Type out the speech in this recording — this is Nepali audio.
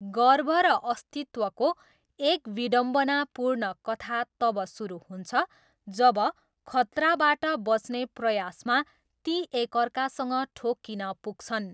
गर्व र अस्तित्वको एक विडम्बनापूर्ण कथा तब सुरु हुन्छ जब, खतराबाट बच्ने प्रयासमा, ती एकअर्कासँग ठोकिन पुग्छन्।